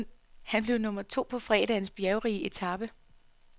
Han blev nummer to på fredagens bjergrige etape.